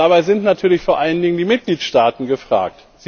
Dabei sind natürlich vor allen Dingen die Mitgliedstaaten gefragt.